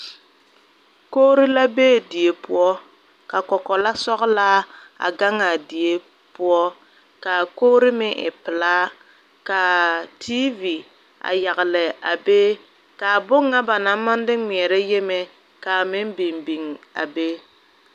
Kogro la be die poɔ ka kɔkɔla sɔglaa a gangaa die poɔ kaa kogre meŋ e pilaa kaa teevi a yagle a be kaa bon ŋa ba naŋ maŋ de ngmɛɛrɛ yieme kaa meŋ biŋ biŋ a be.